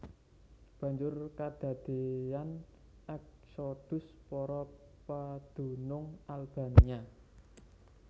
Banjur kadadéyan èksodhus para padunung Albania